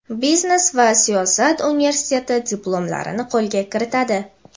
biznes va siyosat universiteti diplomlarini qo‘lga kiritadi.